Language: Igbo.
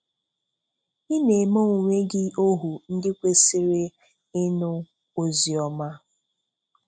Ị na-eme onwe gị ohu ndị kwesịrị ịnụ oziọma?